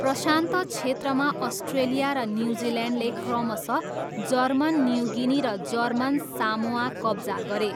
प्रशान्त क्षेत्रमा अस्ट्रेलिया र न्युजिल्यान्डले क्रमशः जर्मन न्युगिनी र जर्मन सामोआ कब्जा गरे।